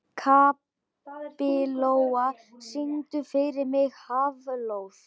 Kapitola, syngdu fyrir mig „Háflóð“.